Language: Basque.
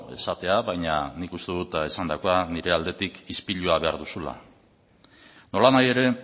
esatea baina nik uste dut esandakoa nire aldetik ispilua behar duzula nolanahi ere